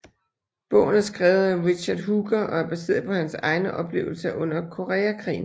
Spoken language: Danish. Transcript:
Bogen er skrevet af Richard Hooker og er baseret på hans egne oplevelser under Koreakrigen